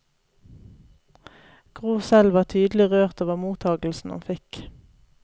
Gro selv var tydelig rørt over mottagelsen hun fikk.